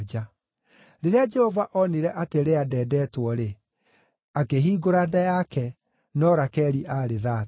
Rĩrĩa Jehova onire atĩ Lea ndendeetwo-rĩ, akĩhingũra nda yake, no Rakeli aarĩ thaata.